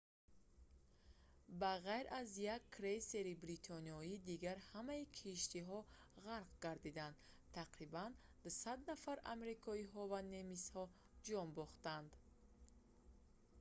ба ғайр аз як крейсери бритониё дигар ҳамаи киштиҳо ғарқ гардиданд тақрибан 200 нафар амрикоиҳо ва немисҳо ҷон бохтанд